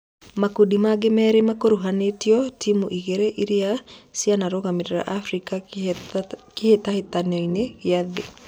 Makundi mangĩ merĩ makuruhanĩtoe timu igĩrĩ irĩa cianarugamĩrĩra Afrika Kĩhĩtahĩtanoinĩ gĩa thĩ.